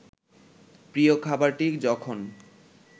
প্রিয় খাবারটি যখন